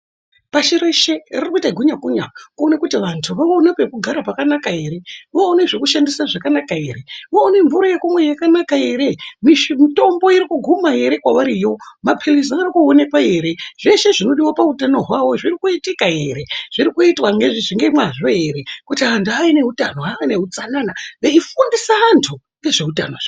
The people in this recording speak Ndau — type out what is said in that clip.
Pashi reshe riri kuite gunya kunya kuone kuti vantu vaone peku gara pakanaka wo one zveku shandisa pakanaka ere wo one mvura yakanaka ere mitombo iri ku guma ere kwavari yoo mapilizi ari ku onekwa ere zveshe zvino diwa pa utano hwawo zviri kuitika ere zviri kuitwa nge mwazvo ere kuti antu ane utano ave ne utsanana veyi fundisa antu nezve utano.